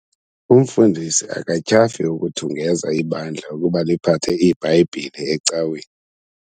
Umfundisi akatyhafi ukuthungeza ibandla ukuba liphathe iiBhayibhile ecaweni.